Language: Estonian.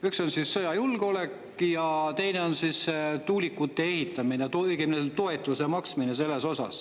Üks on sõjajulgeolek ja teine on tuulikute ehitamine, õigemini, toetuse maksmine selleks.